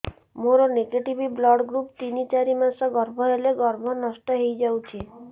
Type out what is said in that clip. ମୋର negative blood group ତିନ ଚାରି ମାସ ଗର୍ଭ ହେଲେ ଗର୍ଭ ନଷ୍ଟ ହେଇଯାଉଛି